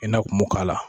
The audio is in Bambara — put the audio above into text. I n'a kun m'o k'a la